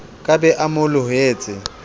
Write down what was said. ka be a mo lohetse